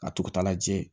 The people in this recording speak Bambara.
Ka tugu tagajɛ